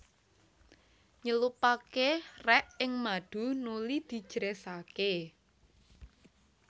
Nyelupaké rek ing madu nuli dijresaké